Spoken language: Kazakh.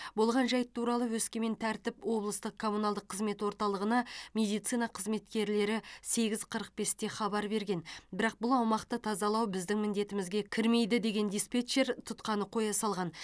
болған жайт туралы өскемен тәртіп облыстық коммуналдық қызмет орталығына медицина қызметкерлері сегіз қырық бесте хабар берген бірақ бұл аумақты тазалау біздің міндетімізге кірмейді деген диспетчер тұтқаны қоя салған